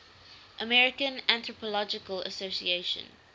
american anthropological association